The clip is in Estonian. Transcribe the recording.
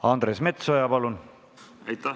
Andres Metsoja, palun!